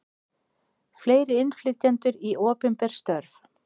Fleiri innflytjendur í opinber störf